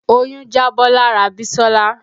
Oyún jábọ́ lára Bisola